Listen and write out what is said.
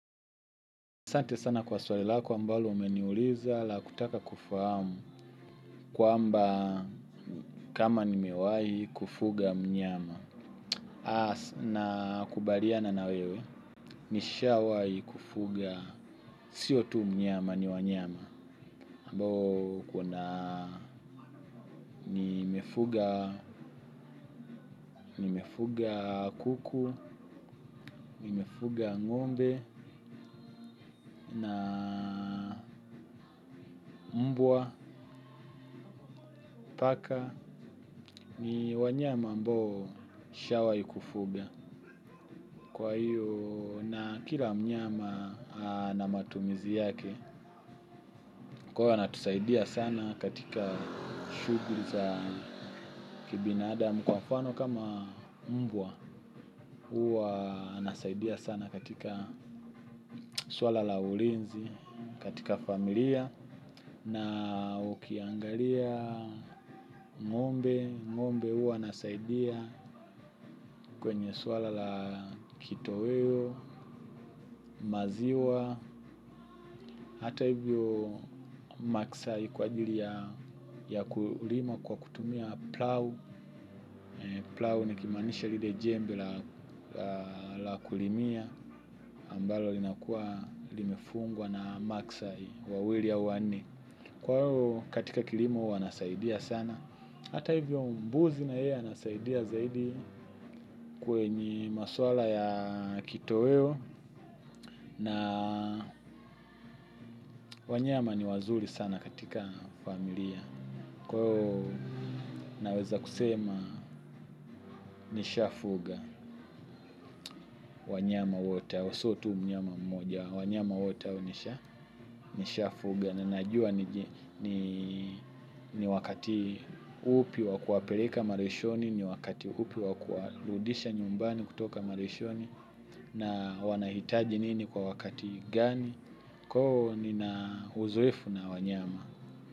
Asante sana kwa swali lako ambalo umeniuliza la kutaka kufahamu kwamba kama nimewai kufuga mnyama. Nakubaliana na wewe nishawai kufuga, sio tu mnyama ni wanyama. Ambao kuna nimefuga, nimefuga kuku, nimefuga ng'ombe na mbwa, paka ni wanyama ambao nishawai kufuga. Kwa hiyo na kila mnyama na matumizi yake, kwa hiyo wanatusaidia sana katika shughuli za kibinadamu kwa mfano kama mbwa huwa anasaidia sana katika swala la ulinzi, katika familia, na ukiangalia, ng'ombe, ng'ombe huwa anasaidia kwenye swala la kitoweo, maziwa, hata hivyo maksai kwa ajili ya kulima kwa kutumia plau. Plau nikimaanisha lile jembe la la kulimia ambalo linakuwa limefungwa na maksai wawili au wanne. Kwa hivyo katika kilimo wanasaidia sana. Hata hivyo mbuzi na yeye anasaidia zaidi kwenye maswala ya kitoweo na wanyama ni wazuri sana katika familia. Kwa hiyo naweza kusema nishafuga wanyama wote hao sio tu mnyama mmoja wanyama wote hao nishafuga na najua niji ni wakati upi wa kuwapeleka malishoni ni wakati upi wa kuwarudisha nyumbani kutoka malishoni na wanahitaji nini kwa wakati gani kwa hiyo nina uzoefu na wanyama.